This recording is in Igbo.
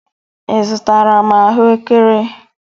Ị zụtara m ahụekere?